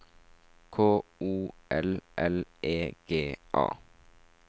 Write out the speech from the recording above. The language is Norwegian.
K O L L E G A